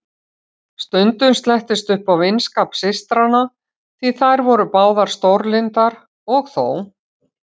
Stundum slettist upp á vinskap systranna, því þær voru báðar stórlyndar, og þó.